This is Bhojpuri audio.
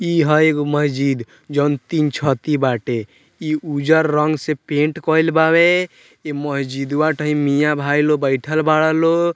इ हअ एगो मस्जिद जोन तीन छती बाटे इ उज्जर रंग से पेंट कईल बावे इ मस्जिदवा टे मिया भाई लोग बइठल बाड़ालो।